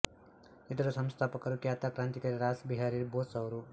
ಇದರ ಸಂಸ್ಥಾಪಕರು ಖ್ಯಾತ ಕ್ರಾಂತಿಕಾರಿ ರಾಸ್ ಬಿಹಾರಿ ಬೋಸ್ ಅವರು